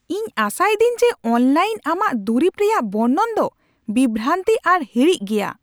ᱤᱧ ᱟᱥᱟᱭᱤᱫᱟᱹᱧ ᱡᱮ ᱚᱱᱞᱟᱭᱤᱱ ᱟᱢᱟᱜ ᱫᱩᱨᱤᱵ ᱨᱮᱭᱟᱜ ᱵᱚᱨᱱᱚᱱ ᱫᱚ ᱵᱤᱵᱷᱨᱟᱱᱛᱤ ᱟᱨ ᱦᱤᱲᱤᱡ ᱜᱮᱭᱟ ᱾